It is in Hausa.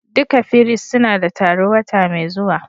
Duka firist suna da taro wata mai zuwa.